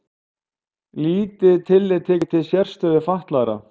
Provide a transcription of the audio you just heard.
Lítið tillit tekið til sérstöðu fatlaðra